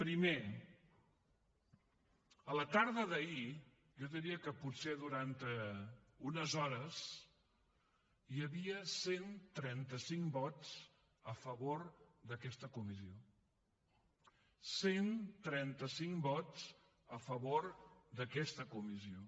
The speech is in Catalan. primer a la tarda d’ahir jo diria que potser durant unes hores hi havia cent i trenta cinc vots a favor d’aquesta comissió cent i trenta cinc vots a favor d’aquesta comissió